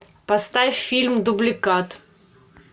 поставь фильм дубликат